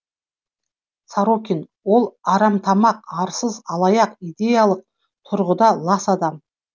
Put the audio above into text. сорокин ол арамтамақ арсыз алаяқ идеялық тұрғыда лас адам